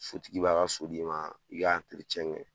Sotigi b'a ka so di ma, i k'a kɛ